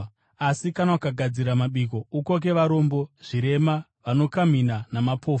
Asi kana ukagadzira mabiko, ukoke varombo, zvirema, vanokamhina, namapofu,